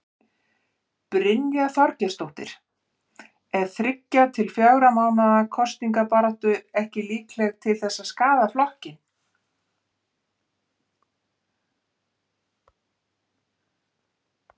Brynja Þorgeirsdóttir: Er þriggja til fjögurra mánaða kosningabarátta ekki líkleg til að skaða flokkinn?